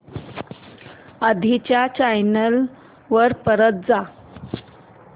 आधी च्या चॅनल वर परत जा